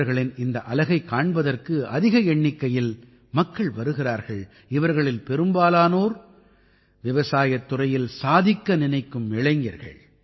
இவர்களின் இந்த அலகைக் காண்பதற்கு அதிக எண்ணிக்கையில் மக்கள் வருகிறார்கள் இவர்களில் பெரும்பாலானோர் விவசாயத் துறையில் சாதிக்க நினைக்கும் இளைஞர்கள்